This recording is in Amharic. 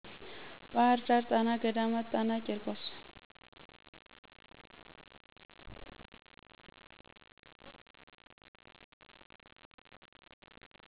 ባህር ዳር ጣና ገዳማት ጣና ቄርቆስ